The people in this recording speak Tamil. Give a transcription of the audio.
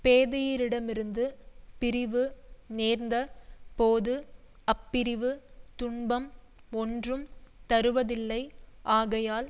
பேதையிரிடமிருந்து பிரிவு நேர்ந்த போது அப்பிரிவு துன்பம் ஒன்றும் தருவதில்லை ஆகையால்